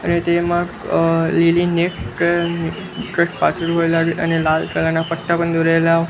અને તેમાં અ લીલી અને લાલ કલર ના પટ્ટા પણ દોરેલા--